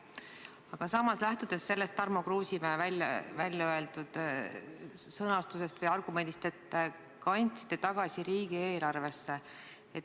Aga samas tekkis mul Tarmo Kruusimäe väljaöeldud sõnumi peale, et te kandsite raha riigieelarvesse tagasi, üks küsimus.